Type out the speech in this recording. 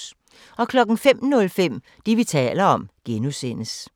05:05: Det, vi taler om (G)